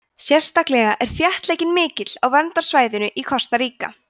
sérstaklega er þéttleikinn mikill á verndarsvæðum í kosta ríka